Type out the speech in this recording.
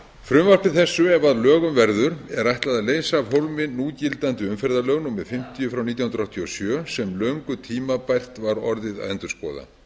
frumvarpi þessu ef að lögum verður er ætlað að leysa af hólmi núgildandi umferðarlög númer fimmtíu nítján hundruð áttatíu og sjö sem löngu tímabært var orðið að endurskoða nefnd